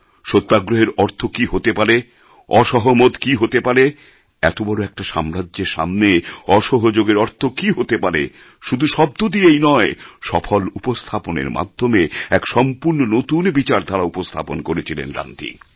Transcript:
সত্যাগ্রহের অর্থ কী হতে পারে অসহমত কী হতে পারে এত বড় একটা সাম্রাজ্যের সামনে অসহযোগের অর্থ কী হতে পারে শুধু শব্দ দিয়েই নয় সফল উপস্থাপনের মাধ্যমে এক সম্পূর্ণ নতুন বিচারধারা উপস্থাপন করেছিলেন গান্ধী